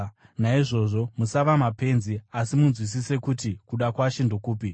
Naizvozvo musava mapenzi, asi munzwisise kuti kuda kwaShe ndokupi.